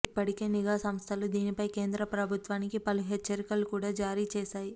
ఇప్పటికే నిఘా సంస్థలు దీనిపై కేంద్ర ప్రభుత్వానికి పలు హెచ్చరికలు కూడా జారిచేసాయి